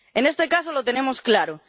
En este caso lo tenemos claro.